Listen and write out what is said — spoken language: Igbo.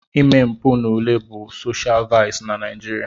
Ime mpụ n'ule bụ soshial vaịsị na Naijiria.